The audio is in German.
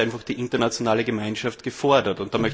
Da ist einfach die internationale Gemeinschaft gefordert.